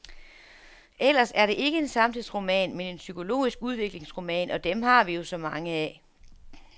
Ellers er det ikke en samtidsroman, men en psykologisk udviklingsroman, og dem har vi jo så mange af.